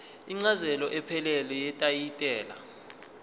incazelo ephelele yetayitela